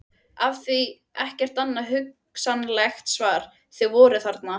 Af því- ekkert annað hugsanlegt svar- að þau voru þarna.